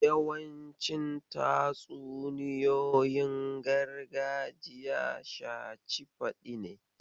Yawancin tatsuniyoyin gargajiya shaci faɗi ne.